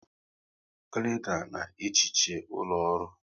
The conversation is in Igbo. Klena na ehicha ụlọ ọrụ